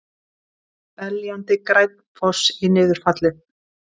Beljandi, grænn foss í niðurfallið.